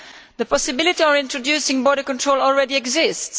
The possibility of introducing border controls already exists.